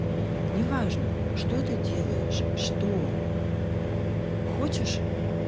неважно что ты делаешь что хочешь